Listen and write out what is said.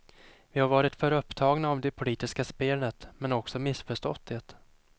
Vi har varit för upptagna av det politiska spelet, men också missförstått det.